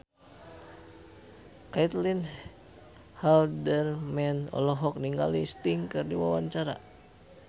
Caitlin Halderman olohok ningali Sting keur diwawancara